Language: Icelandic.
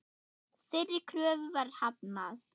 Þeirri kröfu var hafnað.